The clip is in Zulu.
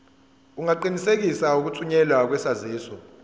ungaqinisekisa ukuthunyelwa kwesaziso